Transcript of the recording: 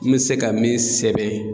N mi se ka min sɛbɛn